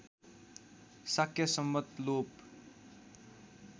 शाक्य सम्वत् लोप